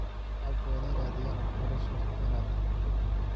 Shacabku waa in ay raadiyaan waxbarasho dheeraad ah.